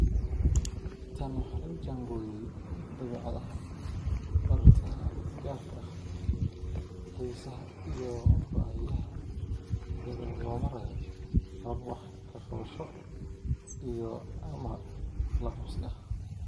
Tan waxa lagu jaangooyay dabeecadaha bartaha gaarka ah, xiisaha, iyo baahiyaha iyada oo loo marayo habab wax ka qabasho iyo/ama la-qabsi ah.